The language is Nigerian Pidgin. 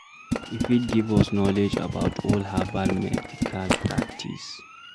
E fit give us knowledge about old herbal medical practice